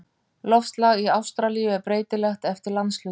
Loftslag í Ástralíu er breytilegt eftir landshlutum.